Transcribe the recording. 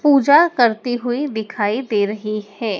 पूजा करती हुई दिखाई दे रही है।